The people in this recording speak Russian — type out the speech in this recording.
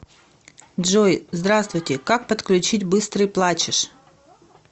джой здравствуйте как подключить быстрый плачешь